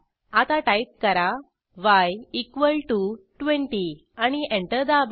आता टाईप करा y equal to 20 आणि एंटर दाबा